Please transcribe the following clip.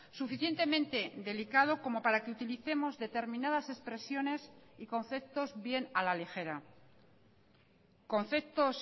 suficientemente delicado como para que utilicemos determinadas expresiones y conceptos bien a la ligera conceptos